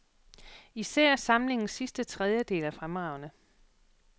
Især samlingens sidste tredjedel er fremragende.